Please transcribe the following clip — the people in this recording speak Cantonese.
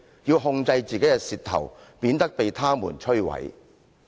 "要控制自己的舌頭，免得被它們摧毀。